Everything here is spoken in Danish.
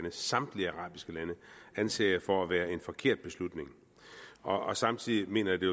samtlige arabiske lande anser jeg for at være en forkert beslutning og samtidig mener jeg det